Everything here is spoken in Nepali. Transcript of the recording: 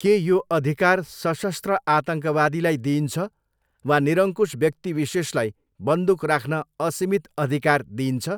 के यो अधिकार सशस्त्र आतङ्कवादीलाई दिइन्छ वा निरंकुश व्यक्तिविशेषलाई बन्दुक राख्न असीमित अधिकार दिइन्छ?